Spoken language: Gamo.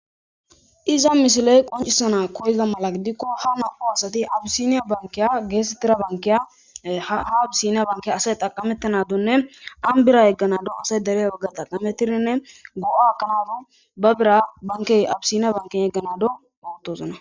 iza misiley qoncisana koyiza mala gidikko ha na7u asati abisiniya bankiya geetettira bankiya ha abisiniya bankeya asay xaqamettanadunne ambira yegganado asay derey wogga taqametirinne go7a kanadu ba bira bankey abisiniya banken yegganado bowotozona